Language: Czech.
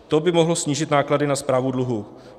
To by mohlo snížit náklady na správu dluhů.